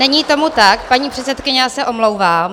Není tomu tak, paní předsedkyně, já se omlouvám.